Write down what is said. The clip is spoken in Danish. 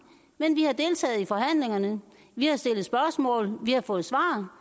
men vi har deltaget i forhandlingerne vi har stillet spørgsmål vi har fået svar og